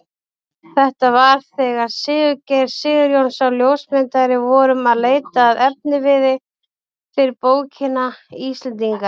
Þetta var þegar við Sigurgeir Sigurjónsson ljósmyndari vorum að leita að efniviði fyrir bókina Íslendingar.